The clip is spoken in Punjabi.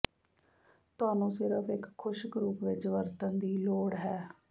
ਤੁਹਾਨੂੰ ਸਿਰਫ ਇੱਕ ਖੁਸ਼ਕ ਰੂਪ ਵਿਚ ਵਰਤਣ ਦੀ ਲੋੜ ਹੈ